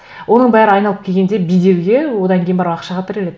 оның бәрі айналып келгенде беделге одан кейін барып ақшаға тіреледі